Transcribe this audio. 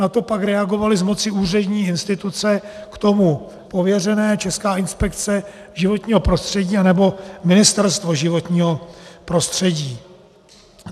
Na to pak reagovaly z moci úřední instituce k tomu pověřené: Česká inspekce životního prostředí nebo Ministerstvo životního prostředí.